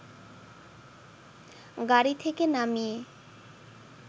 গাড়ি থেকে নামিয়ে